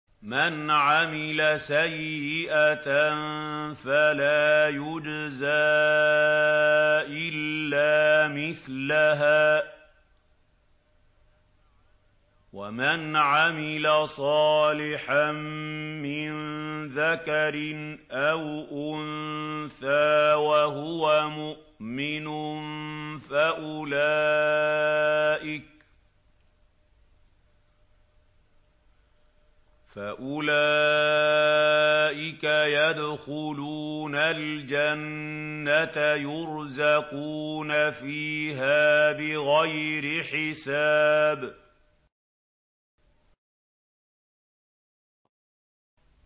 مَنْ عَمِلَ سَيِّئَةً فَلَا يُجْزَىٰ إِلَّا مِثْلَهَا ۖ وَمَنْ عَمِلَ صَالِحًا مِّن ذَكَرٍ أَوْ أُنثَىٰ وَهُوَ مُؤْمِنٌ فَأُولَٰئِكَ يَدْخُلُونَ الْجَنَّةَ يُرْزَقُونَ فِيهَا بِغَيْرِ حِسَابٍ